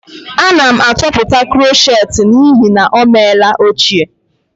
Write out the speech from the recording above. Ana m atọpụta krochet m n'ihi na ọ meela ochie